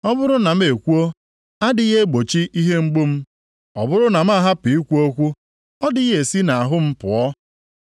“Ma ọ bụrụ na m ekwuo, adịghị egbochi ihe mgbu m, ọ bụrụ na m ahapụ ikwu okwu, ọdịghị esi nʼahụ m pụọ?